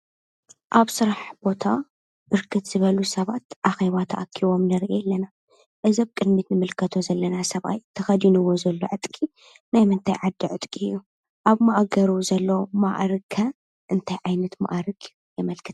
ኣብ ስራሕ ቦታ ብርክት ዝበሉ ሰባት ኣኼባ ተኣኪቦም ንርኢ ኣለና። እዚ ኣብ ቅድሚት ንምልከቶ ዘለና ሰብኣይ ተኸዲኑዎ ዘሎ ዕጥቂ ናይ ምንታይ ዓዲ ዕጥቂ እዩ? ኣብ ማእገሩ ዘሎ ማዕርግ ከ እንታይ ዓይነት ማዕርግ የመልክት?